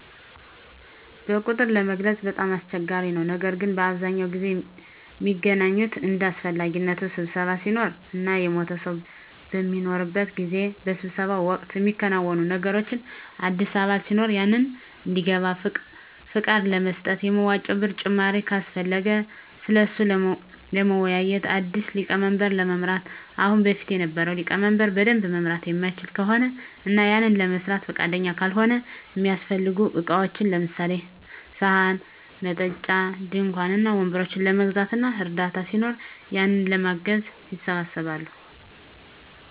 በቁጥር ለመግለፅ በጣም አስቸጋሪ ነው ነገር ግን በአብዛኛው ጊዜ ሚገናኙት እንደ አሰፈላጊነቱ ስብሰባ ሲኖር እና የሞተ ሰው በሚኖርበት ጊዜ። በስብሰባው ወቅት ሚከናወኑት ነገሮች አዲስ አባል ሲኖር ያንን እንዲገባ ፍቃድ ለመስጠት፣ የመዋጮ ብር ጭማሪ ካሰፈለገ ስለሱ ለመወያዬት፣ አዲስ ሊቀመንበር ለመምረጥ ከአሁን በፊት የነበረው ሊቀመንበር በደንብ መምራት ማይችል ከሆነ እና ያንን ለመስራት ፍቃደኛ ካልሆነ፣ እሚያሰፈልጉ እቃዎችን ለምሳሌ፦ ሰሀን፣ መጠጫ፣ ድንኳን እና ወንበሮችን ለመግዛት እና እርዳታ ሲኖር ያንን ለማገዝ ይሰባሰባሉ።